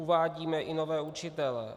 Uvádíme i nové učitele.